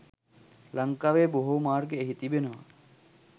ලංකාවේ බොහෝ මාර්ග එහි තිබෙනවා